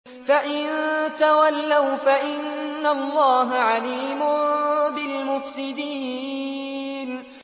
فَإِن تَوَلَّوْا فَإِنَّ اللَّهَ عَلِيمٌ بِالْمُفْسِدِينَ